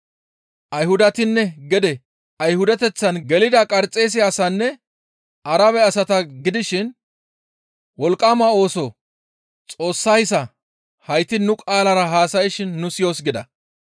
Ayhudatinne gede Ayhudateththan gelida Qarxeese asaanne Arabe asata gidishin wolqqama ooso Xoossayssa hayti nu qaalara haasayshin nu siyoos» gida.